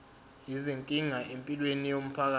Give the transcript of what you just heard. izinkinga empilweni yomphakathi